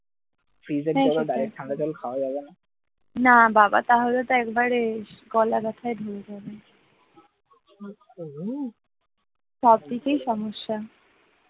সবকিছুই সমস্যা